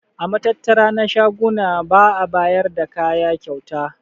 A matattara na shaguna ba'a bayar da kaya kyauta.